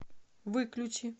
выключи